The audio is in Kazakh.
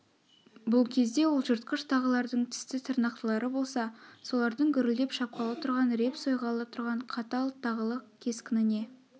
бұл кезде ол жыртқыш тағылардың тісті тырнақтылары болса солардың гүрілдеп шапқалы тұрған реп сойғалы тұрған қатал тағылық кескініне